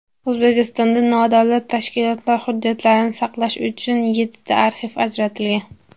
O‘zbekistonda nodavlat tashkilotlar hujjatlarini saqlash uchun yettita arxiv ajratilgan.